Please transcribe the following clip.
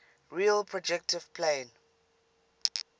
real projective plane